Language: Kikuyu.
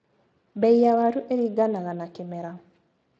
Mbei ya waru ĩringanaga na kĩmera.